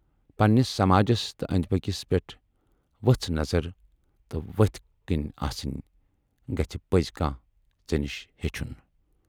پننِس سَماجس تہٕ ٲندۍ پٔکِس پٮ۪ٹھ ؤژھ نَظر تہٕ ؤتھۍ کَن آسٕنۍ گَژھِ پَزی کانہہ ژے نِش ہیچھُن۔